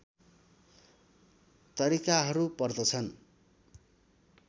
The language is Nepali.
तरिकाहरू पर्दछन्